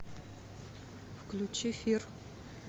включи фир